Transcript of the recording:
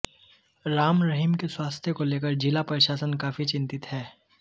राम रहीम के स्वास्थ्य को लेकर जिला प्रशासन काफी चिंतित है